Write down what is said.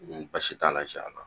Ni baasi t'a la jɛn'a na